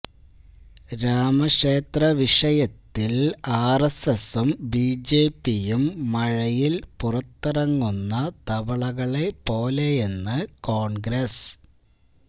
രാമക്ഷേത്ര വിഷയത്തില് ആർഎസ്എസും ബിജെപിയും മഴയിൽ പുറത്തിറങ്ങുന്ന തവളകളെ പോലെയെന്ന് കോണ്ഗ്രസ്